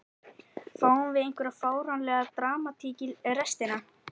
Fáum við einhverja fáránlega dramatík í restina??